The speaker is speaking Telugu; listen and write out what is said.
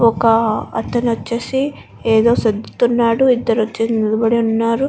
ఒక అతను వచ్చేసి ఏదో సర్దుతున్నాడు ఇద్దరు వచ్చేసి నిలబడి ఉన్నారు.